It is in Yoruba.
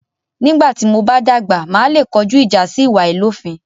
Nígbà tí mo bá dàgbà, màá le kojú ìjà sí ìwà àláìlófin.